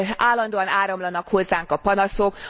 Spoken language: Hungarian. Állandóan áramlanak hozzánk a panaszok.